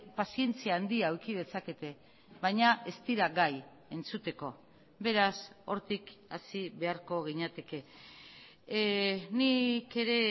pazientzia handia eduki dezakete baina ez dira gai entzuteko beraz hortik hasi beharko ginateke nik ere